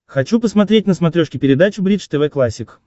хочу посмотреть на смотрешке передачу бридж тв классик